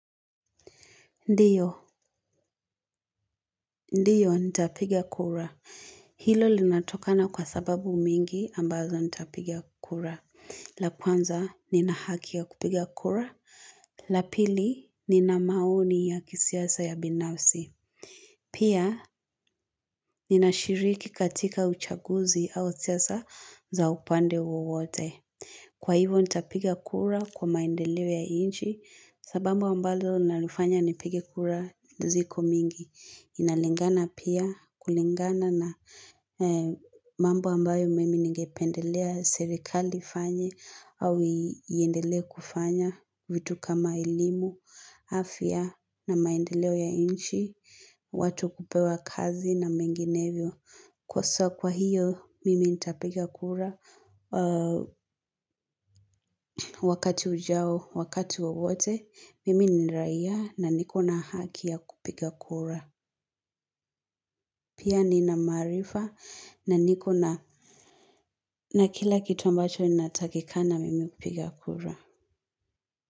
Ndiyo, ndiyo nitapiga kura. Hilo linatokana kwa sababu mengi ambazo nitapiga kura. La kwanza, nina haki ya kupiga kura. La pili, nina maoni ya kisiasa ya binafsi. Pia, ninashiriki katika uchaguzi au siasa za upande wowote. Kwa hivo, nitapiga kura kwa maendeleo ya inchi, sababu ambazo nalifanya nipige kura ziko mingi. Inalingana pia kulingana na mambo ambayo mimi ningependelea serikali ifanye au iendelee kufanya vitu kama elimu, afya na maendeleo ya inchi, watu kupewa kazi na menginevyo. Kwa soa kwa hiyo mimi nitapiga kura wakati ujao wakati wowote mimi ni raia na nikona haki ya kupiga kura. Pia nina maarifa na niko na kila kitu ambacho inatakikana mimi kupiga kura.